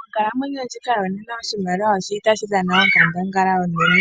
Monkalamwenyo ndjika yonena oshimaliwa oshili tashi dhana onkandangala onene